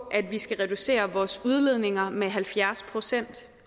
at vi skal reducere vores udledninger med halvfjerds procent